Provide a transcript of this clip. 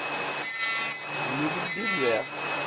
любит бизе